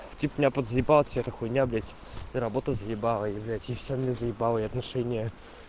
типо меня подзаебала вся эта хуйня блять и работа заебала и блять и все меня заебало и отношения